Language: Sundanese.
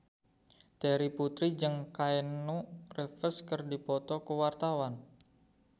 Terry Putri jeung Keanu Reeves keur dipoto ku wartawan